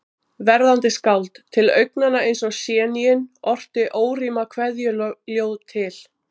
Verðandi skáld, til augnanna eins og séníin, orti órímað kveðjuljóð til